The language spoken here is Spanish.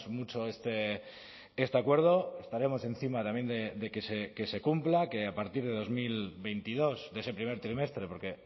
mucho este acuerdo estaremos encima también de que se cumpla que a partir de dos mil veintidós de ese primer trimestre porque